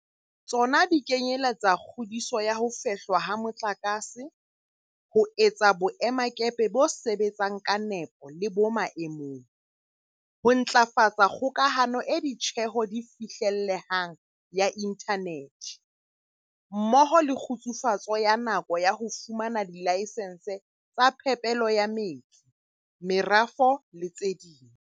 Tsona di kenyeletsa kgudiso ya ho fehlwa ha motlakase, ho etsa boe-makepe bo sebetsang ka nepo le bo maemong, ho ntlafatsa kgokahano e ditjeho di fihlellehang ya inthanethe, mmoho le kgutsufatso ya nako ya ho fumana dilayesense tsa phepelo ya metsi, merafo le tse ding.